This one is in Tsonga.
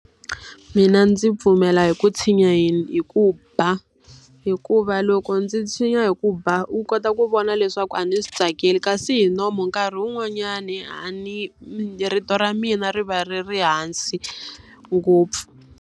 Mina ndzi pfumela hi ku tshinya hi ku ba. Hikuva loko ndzi tshinya hi ku ba u kota ku vona leswaku a ndzi swi tsakeli, kasi hi nomu nkarhi wun'wanyani a ni rito ra mina ri va ri ri hansi ngopfu.